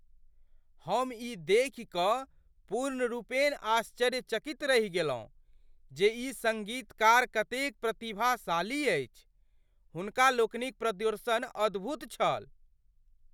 हम ई देखि कऽ पूर्णरूपेण आश्चर्यचकित रहि गेलहुँ जे ई सङ्गीतकार कतेक प्रतिभाशाली अछि। हुनका लोकनिक प्रदर्शन अद्भुत छल।